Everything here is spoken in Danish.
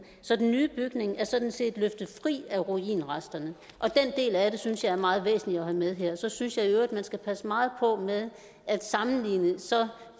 så den nye bygning er sådan set løftet fri af ruinresterne og den del af det synes jeg er meget væsentlig at have med her så synes jeg i øvrigt man skal passe meget på med at sammenligne så